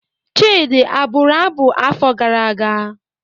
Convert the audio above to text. Chidi abụru abụ afọ gara aga?